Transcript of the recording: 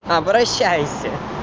обращайся